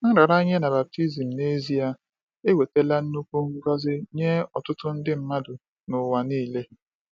Nraranye na baptizim, n’ezie, ewetala nnukwu ngọzi nye ọtụtụ nde mmadụ n’ụwa niile.